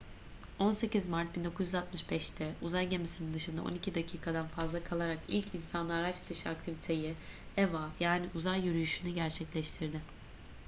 18 mart 1965'te uzay gemisinin dışında on iki dakikadan fazla kalarak ilk insanlı araç dışı aktiviteyi eva yani uzay yürüyüşünü gerçekleştirdi